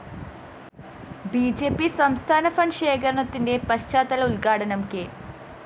B J P സംസ്ഥാന fund ശേഖരണത്തിന്റെ പഞ്ചായത്ത്തല ഉദ്ഘാടനം കെ